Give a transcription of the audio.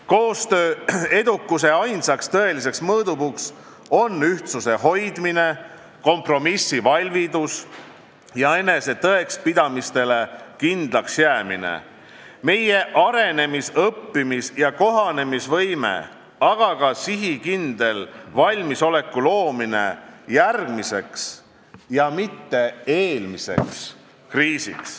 Koostöö edukuse ainus õige mõõdupuu on ühtsuse hoidmine, kompromissivalmidus ja enese tõekspidamistele kindlaks jäämine, samuti meie arenemis-, õppimis- ja kohanemisvõime, aga ka sihikindel valmisoleku loomine järgmiseks kriisiks.